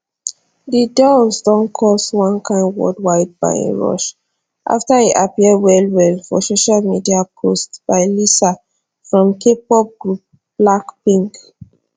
di dolls don cause one kain worldwide buying rush after e appear wellwell for social media posts by lisa from kpop group blackpink